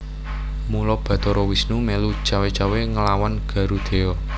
Mula Bathara Wisnu mèlu cawé cawé nglawan Garudheya